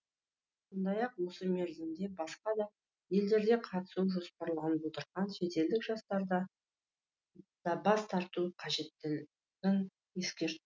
сондай ақ осы мерзімде басқа да елдерде қатысуы жоспарланып отырған шетелдік жарыстарда да бас тарту қажеттігін ескерт